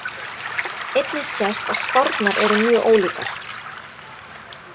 Einnig sést að spárnar eru mjög ólíkar.